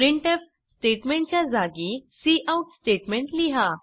printf statement च्या जागी cout statement लिहा